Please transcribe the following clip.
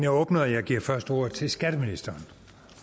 åbnet og jeg giver først ordet til skatteministeren